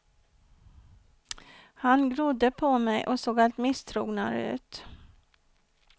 Han glodde på mig och såg allt misstrognare ut.